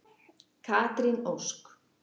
Katrín Ósk.